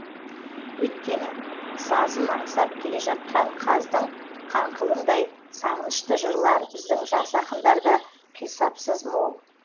өйткені сазын аңсап келе жатқан қаздың қаңқылындай сағынышты жырлар біздің жас ақындарда қисапсыз мол